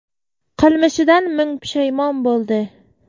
Qilmishidan ming pushaymon bo‘ldi.